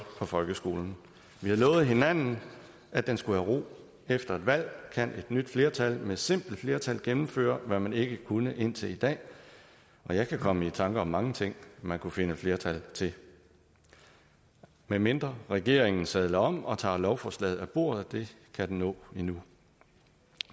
for folkeskolen vi har lovet hinanden at den skulle have ro efter et valg kan et nyt flertal med simpelt flertal gennemføre hvad man ikke kunne indtil i dag og jeg kan komme i tanke om mange ting man kunne finde flertal til medmindre regeringen sadler om og tager lovforslaget af bordet og det kan den nå endnu